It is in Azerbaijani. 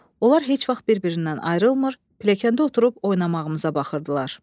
Onlar heç vaxt bir-birindən ayrılmır, pilləkəndə oturub oynamağımıza baxırdılar.